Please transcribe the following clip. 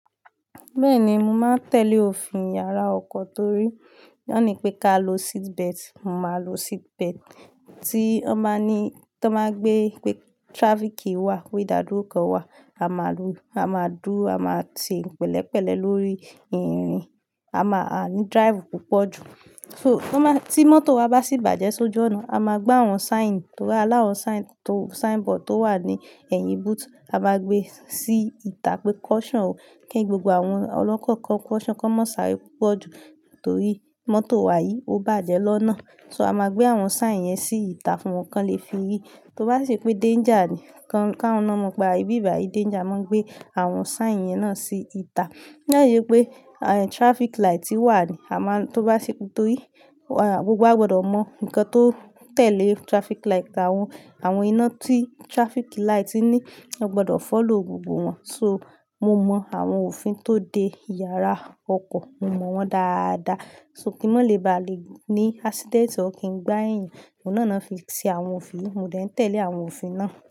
Bẹ́ẹ̀ni, mo máa ń tẹ̀lé òfin yàrá ọkọ̀ torí wọ́n ní pé ká lo seatbelt, mo máa lo seatbelt. Tí wọ́n ba ní tí wọ́n máa gbé pé traffic queue wà, pé ìdádúró kan wà, a máa du, a máa dúró, a máa se pẹ̀lẹ́pẹ̀lẹ́ lórí ìrìn, a máa a ní drive púpọ̀ jù. So, tan ba tí mọ́tò wa bá sì bàjẹ́ sójú ọ̀nà, a máa gbe àwọn sign, torí ani áwọ̀n sign to, sign board tó wà ní ẹ̀yìn boot, a máa gbé sí ìta pé caution o, kí gbogbo àwọn ọlọ́kọ̀ kan caution, kí wọ́n má ṣàárẹ̀ púpọ̀ jù torí mọ́tò wa yìí ó bàjẹ́ lọ́nà. So a máa gbé àwọn sign yẹn sí ìta fún wọn kí wọ́n lè fi rí. Tó bá si ṣe pé danger ni, kí awọ́n ná mo pe, ibi bàyìí danger, a máa n gbé àwọn sign yẹn náà sí ìta. To ba si jẹ́ pé traffic light wà ni, a máa ń tó bá ṣe pé torí gbogbo wa gbọdọ̀ mọ ǹkan tó tẹ̀lé traffic light, àwọn, àwọn iná tí traffic light ní, a gbọdọ̀ follow gbogbo wọn. So, mo mọ àwọn òfin tó de yàrá ọkọ̀, mo mọ̀ wọ́n dáadáa. So kí wọ́n lè bá lè ní accident, or kì n gbá ẹ̀eyan, ohun náà ni won fi ṣe àwọn òfin, mo dẹ̀ ń tẹ̀lé àwọn òfin náà.